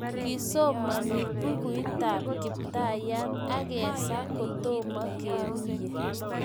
Kisomani Bukuitab Kiptayat agesaa kotomo keruiye